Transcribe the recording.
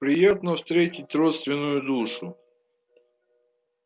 приятно встретить родственную душу